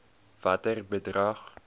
watter bedrag